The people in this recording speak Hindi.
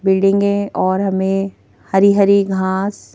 बिल्डिंगे और हमें हरी-हरी घांस --